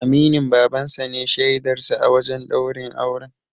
Aminin Baban sa ne shaidar sa a wajen ɗaurin auren.